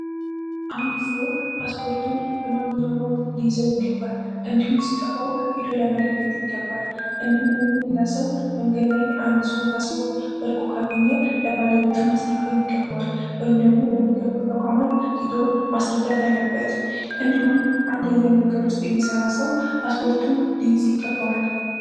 አንድ ሰው ፓስፖርቱን በማግኘት ይገባል እንዲሁም ሲጠፋው ለመለከት ይገባል። አንድ ሰው ፓስፖርት ካገኘ ለባለቤቱ ማስረከብ ይገባዋል ወይም ደግሞ ለሚከበሩ ተቋማት ሄዶ ማስረዳት አለበት እንዲሁም አንደኛ ውስጥ የሚሰራ ሰው ፓስፖርቱን ይከበራል